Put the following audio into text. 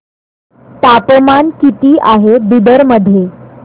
तापमान किती आहे बिदर मध्ये